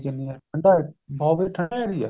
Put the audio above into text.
ਕਿੰਨੀ ਹੈ ਠੰਡਾ ਕਾਫੀ ਠੰਡਾ area